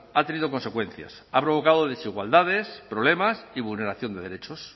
ha tenido consecuencias ha provocado desigualdades problemas y vulneración de derechos